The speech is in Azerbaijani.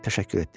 Təşəkkür etdi.